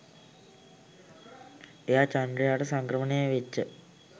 එයා චන්ද්‍රයාට සංක්‍රමණය වෙච්ච